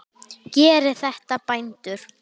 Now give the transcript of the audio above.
Gerið þetta, bændur!